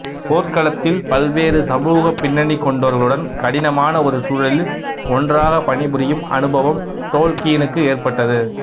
போர்க்களத்தில் பல்வேறு சமூகப் பின்னணி கொண்டவர்களுடன் கடினமான ஒரு சூழலில் ஒன்றாகப் பணிபுரியும் அனுபவம் டோல்கீனுக்கு ஏற்பட்டது